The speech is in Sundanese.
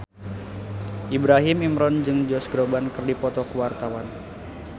Ibrahim Imran jeung Josh Groban keur dipoto ku wartawan